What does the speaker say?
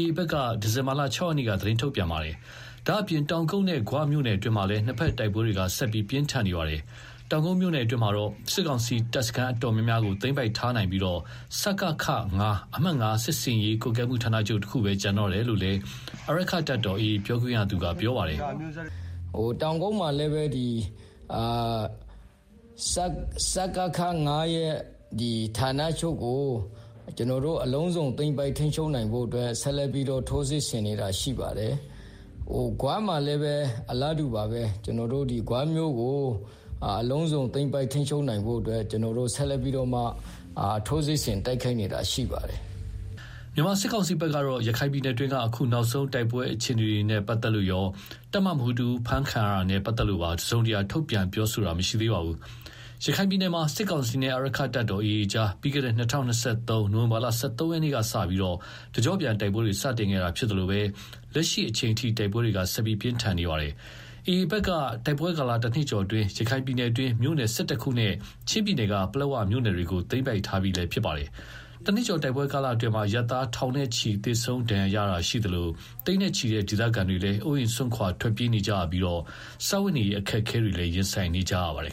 ည်း AAဘက်က ဒီဇင်ဘာလ ၆ရက်နေ့က သတင်းထုတ်ပြန် ထားပါတယ်။ ဒါ့အပြင် တောင်ကုတ်နဲ့ ဂွမြို့နယ်အတွင်းမှာလည်း နှစ်ဘက်တိုက်ပွဲတွေ ဆက်လက်ပြင်းထန်နေပါတယ်။ တောင်ကုတ်မြို့နယ်အတွင်းမှာတော့ စစ်ကောင်စီတပ်စခန်းတော်တော်များများကို သိမ်းပိုက်ထားနိုင်ပြီး စကခ-၅ (အမှတ် ၅ စစ်ဆင်ရေးကွပ်ကဲမှုဌာနချုပ်) တခုသာကျန်တော့တယ်လို့လည်း အာရက္ခတပ်တော် AA ပြောခွင့်ရ ခိုင်သုခက ပြောပါတယ်။ “ တောင်ကုတ်မှာလည်းပဲ စကခ-၅ဌာနချုပ်ကို ဆက်လက်ပြီးတော့ ထိုးစစ်ဆင်နေတာရှိပါတယ်၊ ဂွမှာ လည်းပဲ အလားတူပါပဲ ဂွမြို့ကို သိမ်းပိုက်ထိန်းချုပ်နိုင်ဖို့ ဆက် လက်ပြီးတော့ ထိုးစစ်ဆင်တိုက်ခိုက် နေတာရှိပါတယ်။” မြန်မာစစ်ကောင်စီဘက်ကတော့ ရခိုင်ပြည်နယ်တွင်းက နောက်ဆုံးတိုက်ပွဲအခြေအနေတွေနဲ့ပတ်သက်လို့ရော တပ်မမှုးတဦးဖမ်းခံရတာနဲ့ပတ်သက်လို့ပါ တစုံတရာထုတ်ပြန်ပြောဆိုတာမရှိသေးပါဘူး။ ရခိုင်ပြည်နယ်မှာ စစ်ကောင်စီနဲ့ အာရက္ခတပ်တော် AA အကြား ပြီးခဲ့တဲ့ ၂၀၂၃ ခုနှစ် နိုဝင်ဘာလ ၁၃ရက် နေ့ကစပြီး တကျော့ပြန်တိုက်ပွဲတွေ စတင်ခဲ့တာ ဖြစ်သလို လက်ရှိအချိန်ထိ တိုက်ပွဲတွေ ဆက်လက်ပြင်းထန်နေတာပါ။ AA ဘက်ကတော့ တိုက်ပွဲကာလ တနှစ်ကျော်အတွင်း ရခိုင်ပြည်နယ်က မြို့နယ် ၁၁ခုနဲ့ ချင်းပြည်နယ်က ပလက်ဝမြို့နယ်တွေကို သိမ်းပိုက်ထားပြီးလည်း ဖြစ်ပါတယ်။ တနှစ်ကျော်တိုက်ပွဲကာလအတွင်း အရပ်သား ထောင်နဲ့ချီသေဆုံးဒဏ်ရာရရှိခဲ့တာရှိသလို၊ သိန်းနဲ့ချီတဲ့ ဒေသခံတွေဟာလည်း အိုးအိမ်စွန့်ခွာထွက်ပြေးနေကြရပြီး စားဝတ်နေရေးအခက်အခဲတွေလည်း ရင်ဆိုင်နေကြရပါတယ်